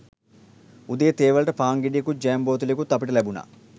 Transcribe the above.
උදේ තේ වලට පාන් ගෙඩියකුත් ජෑම් බෝතලයකුත් අපිට ලැබුණා